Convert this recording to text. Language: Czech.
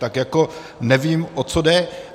Tak jako nevím, o co jde.